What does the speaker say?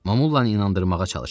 Mamolla inandırmağa çalışırdı.